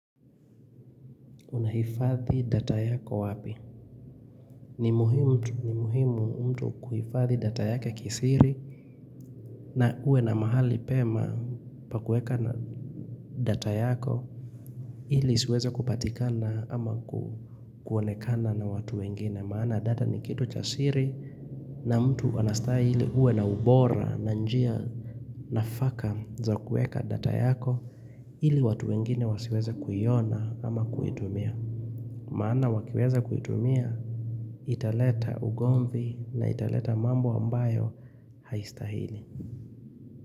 Unahifadhi data yako wapi? Ni muhimu mtu kuhifadhi data yake kisiri na uwe na mahali pema pa kueka na data yako ili isiweze kupatikana ama kuonekana na watu wengine. Maana data ni kitu cha siri na mtu anastahili uwe na ubora na njia nafaka za kueka data yako ili watu wengine wasiweza kuiona ama kuitumia. Maana wakiweza kuitumia italeta ugomvi na italeta mambo ambayo haistahili.